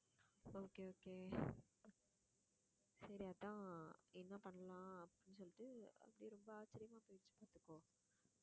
okay சரி அதான் என்ன பண்ணலாம் அப்படின்னு சொல்லிட்டு அப்படியே ரொம்ப ஆச்சரியமா போயிடுச்சு பாத்துக்கோ